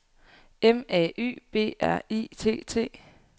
M A Y B R I T T